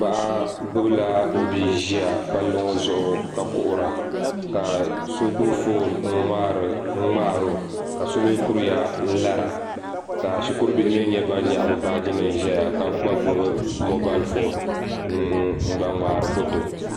Paɣa gbubila o bia ʒiya palli ŋo zuɣu ka kuhura ka so gbubi foon n ŋmaaro ka so mii kuriya n lara ka shikuru bihi mii nyɛ ban nyaɣa bi baaji nim ʒɛya ka gba gbubi moobal foon n ŋmaari foto